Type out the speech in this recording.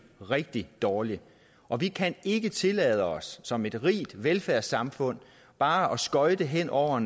rigtig dårligt og vi kan ikke tillade os som et rigt velfærdssamfund bare at skøjte hen over